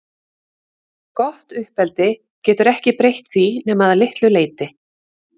Gott uppeldi getur ekki breytt því nema að litlu leyti.